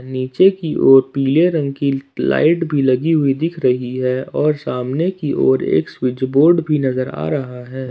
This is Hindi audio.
नीचे की और पीले रंग की लाइट भी लगी हुई दिख रही है और सामने की ओर एक स्विच बोर्ड भी नजर आ रहा है।